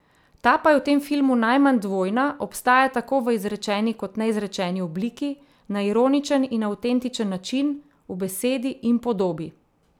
Ta pa je v tem filmu najmanj dvojna, obstaja tako v izrečeni kot neizrečeni obliki, na ironičen in avtentičen način, v besedi in podobi.